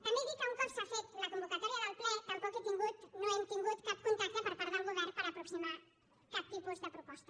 també dir que un cop s’ha fet la convocatòria del ple tampoc no hem tingut cap contacte per part del govern per aproximar cap tipus de proposta